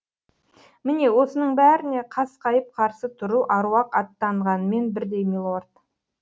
міне осының бәріне қасқайып қарсы тұру аруақ аттағанмен бірдей милорд